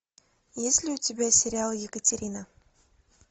есть ли у тебя сериал екатерина